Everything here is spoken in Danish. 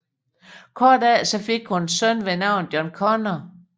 Kort efter fik hun en søn ved navn John Connor